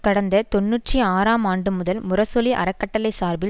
கடந்த தொன்னூற்றி ஆறாம் ஆண்டு முதல் முரசொலி அறக்கட்டளை சார்பில்